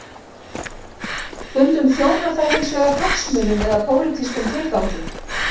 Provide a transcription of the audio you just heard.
Stundum þjónar það hins vegar hagsmunum eða pólitískum tilgangi.